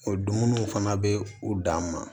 O dumuniw fana bɛ u dan ma